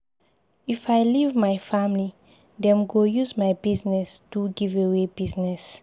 If I leave my family, dem go use my business do give-away business.